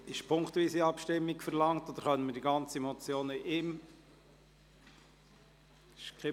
Wird punktweise Abstimmung verlangt, oder können wir die ganze Motion in einer Abstimmung behandeln?